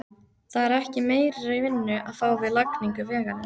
Það er ekki meiri vinnu að fá við lagningu vegarins.